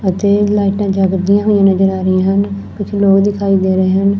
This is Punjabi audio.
ਅਤੇ ਲਾਈਟਾਂ ਜਗਦੀਆਂ ਹੋਈਆਂ ਨਜ਼ਰ ਆ ਰਹੀਆਂ ਹਨ ਕੁਝ ਲੋਕ ਦਿਖਾਈ ਦੇ ਰਹੇ ਹਨ।